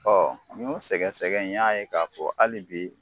n ɲ'o sɛgɛsɛgɛ n ɲ'a ye k'a fɔ hali bi